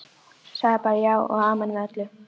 Sagði bara já og amen við öllu.